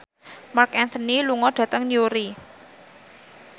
Marc Anthony lunga dhateng Newry